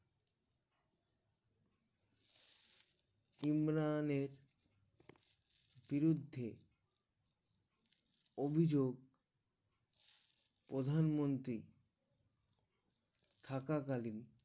ইমরানের বিরুদ্ধে অভিযোগ প্রধান মন্ত্রী থাকা কালীন